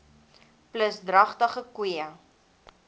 plus dragtige koeie